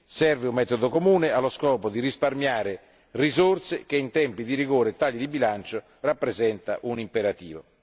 Serve un metodo comune, allo scopo di risparmiare risorse che in tempi di rigore e tagli di bilancio rappresenta un imperativo.